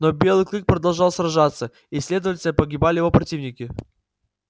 но белый клык продолжал сражаться и следовательно погибали его противники